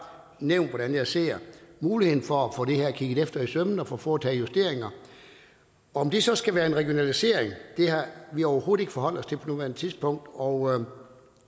nævnt hvordan jeg ser muligheden for at få det her kigget efter i sømmene og få foretaget justeringer om det så skal være en regionalisering har vi overhovedet ikke forholdt os til på nuværende tidspunkt og